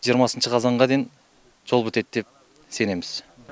жиырмасыншы қазанға дейін жол бітеді деп сенеміз